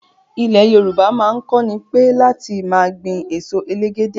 Ilẹ̀ Yorùbá náà kònípẹ́ láti máa gbìn èso elégédé